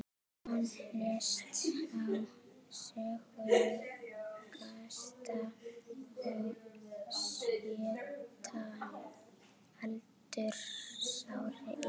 Hann lést á sjötugasta og sjötta aldursári í